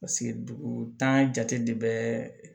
Paseke dugu jate de bɛ